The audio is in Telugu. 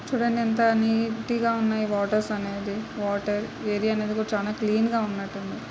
చూడండి ఎంత నీటు గా ఉన్నాయి. వాటర్స్ అనేది. వాటర్ ఏరియా అనేది చాలా క్లీన్ గా ఉన్నట్టుంది.